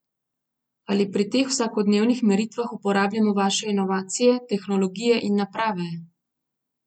Ali pri teh vsakodnevnih meritvah uporabljamo vaše inovacije, tehnologije in naprave?